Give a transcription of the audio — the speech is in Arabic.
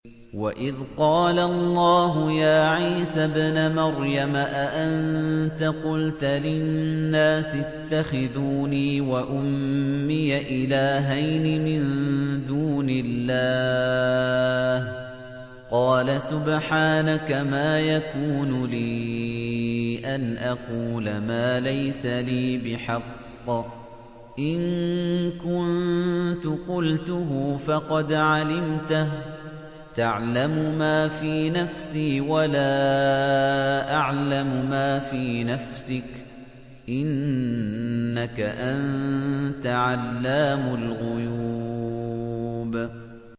وَإِذْ قَالَ اللَّهُ يَا عِيسَى ابْنَ مَرْيَمَ أَأَنتَ قُلْتَ لِلنَّاسِ اتَّخِذُونِي وَأُمِّيَ إِلَٰهَيْنِ مِن دُونِ اللَّهِ ۖ قَالَ سُبْحَانَكَ مَا يَكُونُ لِي أَنْ أَقُولَ مَا لَيْسَ لِي بِحَقٍّ ۚ إِن كُنتُ قُلْتُهُ فَقَدْ عَلِمْتَهُ ۚ تَعْلَمُ مَا فِي نَفْسِي وَلَا أَعْلَمُ مَا فِي نَفْسِكَ ۚ إِنَّكَ أَنتَ عَلَّامُ الْغُيُوبِ